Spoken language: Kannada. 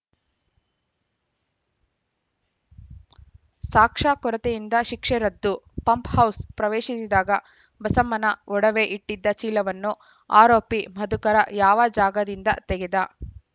ಸಾಕ್ಷ್ಯ ಕೊರತೆಯಿಂದ ಶಿಕ್ಷೆ ರದ್ದು ಪಂಪ್‌ಹೌಸ್‌ ಪ್ರವೇಶಿಸಿದಾಗ ಬಸಮ್ಮನ ಒಡವೆ ಇಟ್ಟಿದ್ದ ಚೀಲವನ್ನು ಆರೋಪಿ ಮಧುಕರ ಯಾವ ಜಾಗದಿಂದ ತೆಗೆದ